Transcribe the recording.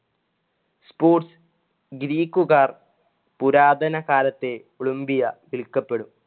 sports ഗ്രീക്കുകാർ പുരാതനകാലത്തെ Olympia വിളിക്കപ്പെടും